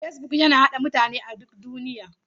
Facebook yana haɗa mutane a duk faɗin duniya.